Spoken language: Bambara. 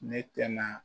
Ne tɛna